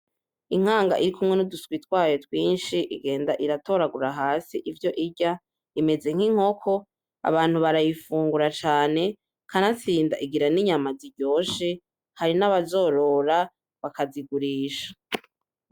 Inkanga irikumwe nuduswi twayo twinshi igenda iratoragura hasi ivyo irya, imeze nki nkoko. Abantu barayifungura cane, kanatsinda igira ni nyama ziryoshe, hari naba zorora bakazigurisha.